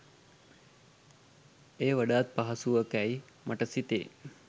එය වඩාත් පහසුවකැයි මට සිතේ